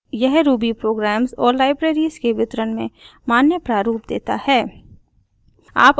यह ruby programs और libraries के वितरण में मान्य प्रारूप देता है